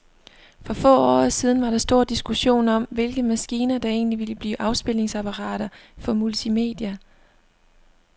For få år siden var der stor diskussion om, hvilke maskiner, der egentlig ville blive afspilningsapparater for multimedia.